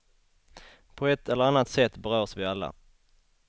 På ett eller annat sätt berörs vi alla.